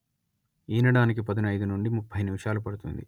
ఈనడానికి పదునయిదు నుండి ముప్పై నిమిషాలు పడుతుంది